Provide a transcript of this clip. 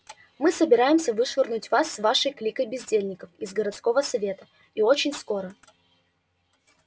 мы собираемся вышвырнуть вас с вашей кликой бездельников из городского совета и очень скоро